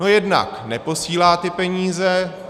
No jednak neposílá ty peníze.